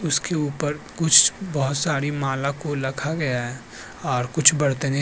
उसके ऊपर कुछ बहुत सारी माला को लखा गया है और कुछ बर्तने --